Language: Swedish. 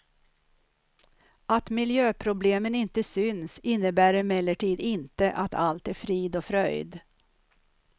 Att miljöproblemen inte syns innebär emellertid inte att allt är frid och fröjd.